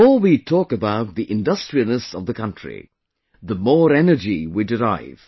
The more we talk about the industriousness of the country, the more energy we derive